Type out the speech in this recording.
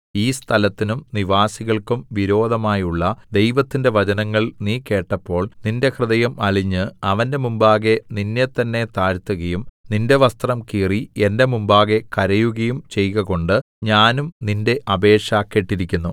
ഈ സ്ഥലത്തിനും നിവാസികൾക്കും വിരോധമായുള്ള ദൈവത്തിന്റെ വചനങ്ങൾ നീ കേട്ടപ്പോൾ നിന്റെ ഹൃദയം അലിഞ്ഞ് അവന്റെ മുമ്പാകെ നിന്നെത്തന്നെ താഴ്ത്തുകയും നിന്റെ വസ്ത്രം കീറി എന്റെ മുമ്പാകെ കരയുകയും ചെയ്കകൊണ്ട് ഞാനും നിന്റെ അപേക്ഷ കേട്ടിരിക്കുന്നു